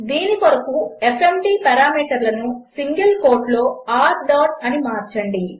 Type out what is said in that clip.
దీని కొరకు ఎఫ్ఎంటీ పారామీటర్లను సింగిల్ కోట్లో r డాట్ అని మార్చండి